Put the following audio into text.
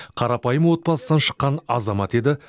қарапайым отбасынан шыққан азамат еді